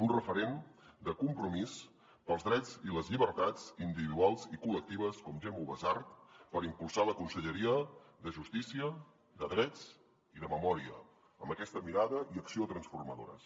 un referent de compromís pels drets i les llibertats individuals i col·lectives com gemma ubasart per impulsar la conselleria de justícia de drets i de memòria amb aquesta mirada i acció transformadores